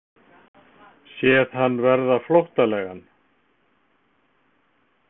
Séð hann verða flóttalegan.